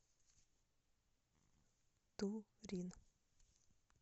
турин